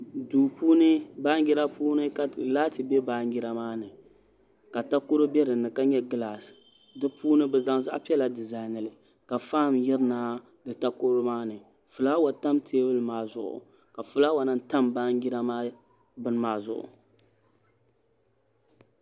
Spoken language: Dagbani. Duu puuni baanjira puuni ka laati bɛ baanjira maa ni ka takoro bɛ dinni ka nyɛ gilaas di puuni bi zaŋ zaɣ piɛla dizainili ka faan yirina di takoro maa ni fulaawa tam teebuli maa zuɣu ka fulaawa lahi tam baanjira maa bini maa zuɣu